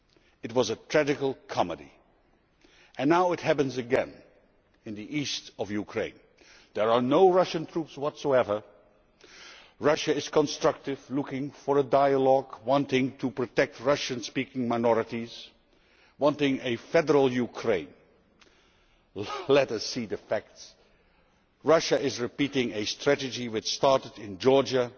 It was a tragi comedy and now it is happening again in the east of Ukraine. There are no Russian troops whatsoever. Russia is constructive, looking for a dialogue, wanting to protect Russian speaking minorities and wanting a federal Ukraine. Let us look at the facts. Russia is repeating a strategy which started in Georgia,